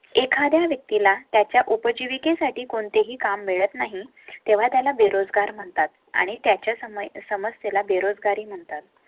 एखाद्या व्यक्ती ला त्याच्या उपजीविके साठी कोणतेही काम मिळत नाही तेव्हा त्याला बेरोजगार म्हणतात आणि त्याच्या समय समस्या बेरोजगारी म्हणतात.